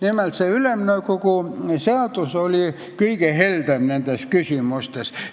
Nimelt, see Ülemnõukogu seadus oli nendes küsimustes kõige heldem.